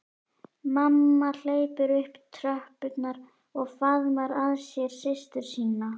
Mamma hleypur upp tröppurnar og faðmar að sér systur sína.